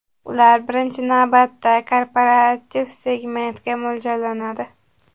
Ular, birinchi navbatda, korporativ segmentga mo‘ljallanadi.